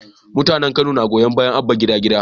Mutanen kano na goyon bayan Abba gida gida